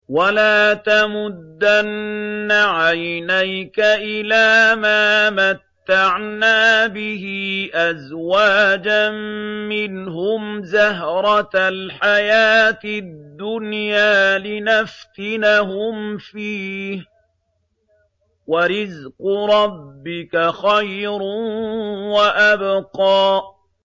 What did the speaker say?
وَلَا تَمُدَّنَّ عَيْنَيْكَ إِلَىٰ مَا مَتَّعْنَا بِهِ أَزْوَاجًا مِّنْهُمْ زَهْرَةَ الْحَيَاةِ الدُّنْيَا لِنَفْتِنَهُمْ فِيهِ ۚ وَرِزْقُ رَبِّكَ خَيْرٌ وَأَبْقَىٰ